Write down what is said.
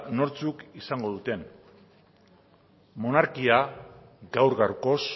nortzuk izango duten monarkia gaur gaurkoz